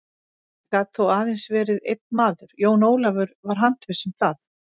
Þetta gat þó aðeins verið einn maður, Jón Ólafur var handviss um það.